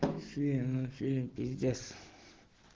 смена сегодня пиздец